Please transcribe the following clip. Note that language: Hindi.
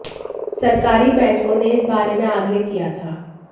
सरकारी बैंकों ने इस बारे में आग्रह किया था